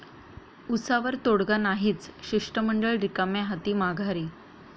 उसावर तोडगा नाहीच, शिष्टमंडळ रिकाम्या हाती माघारी!